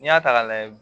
N'i y'a ta k'a lajɛ